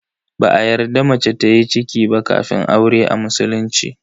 Ba a yarda mace tayi ciki ba kafin aure a musulunci.